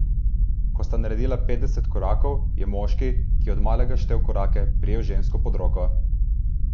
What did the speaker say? Ko sta naredila petdeset korakov, je moški, ki je od malega štel korake, prijel žensko pod roko.